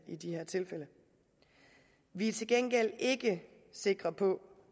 i de her tilfælde vi er til gengæld ikke sikre på